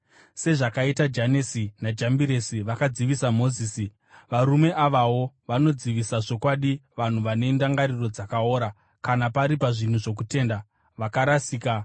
Sezvakaita Janesi naJambiresi vakadzivisa Mozisi, varume avawo vanodzivisa zvokwadi, vanhu vane ndangariro dzakaora, kana pari pazvinhu zvokutenda, vakarasika.